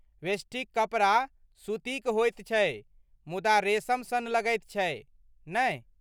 वेष्टीक कपड़ा सूतीक होइत छै मुदा रेशम सन लगैत छै, नहि?